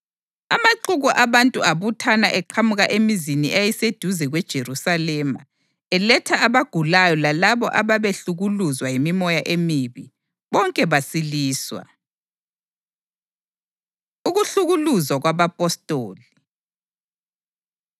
Amaxuku abantu abuthana eqhamuka emizini eyayiseduze kweJerusalema, eletha abagulayo lalabo ababehlukuluzwa yimimoya emibi, bonke basiliswa. Ukuhlukuluzwa Kwabapostoli